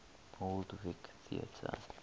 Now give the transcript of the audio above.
old vic theatre